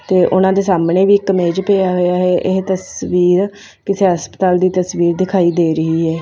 ਤੇ ਉਹਨਾਂ ਦੇ ਸਾਹਮਣੇ ਵੀ ਇੱਕ ਮੇਜ ਪਿਆ ਹੋਇਆ ਇਹ ਤਸਵੀਰ ਕਿਸੇ ਹਸਪਤਾਲ ਦੀ ਤਸਵੀਰ ਦਿਖਾਈ ਦੇ ਰਹੀ ਹੈ।